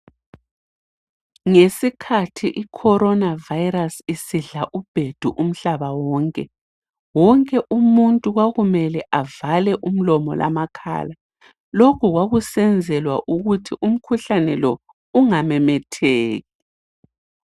Ngesikhathi icorona vayirasi isidla ubhedu umhlaba wonke, wonke umuntu kwakumele avale umlomo lamakhala. Lokhu kwakusenzelwa ukuthi umkhuhlane lo ungamemetheki.